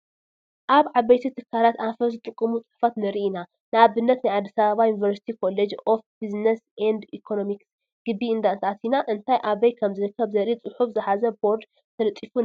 ኣብ ዓበይቲ ትካላት ኣንፈት ዝጥቑሙ ፅሑፋት ንርኢ ኢና፡፡ ንኣብነት ናብ ኣዲስ ኣባባ ዩኒቨርሲቲ ኮሌጅ ኦፍ ቢዝነስ ኤንድ ኢኮነሚክስ ግቢ እንተኣቲና እንታይ ኣበይ ከምዝርከብ ዘርኢ ፅሑፈ ዝሓዘ ቦርድ ተለጢፉ ንረክብ፡፡